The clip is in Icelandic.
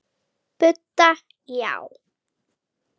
Budda: Já.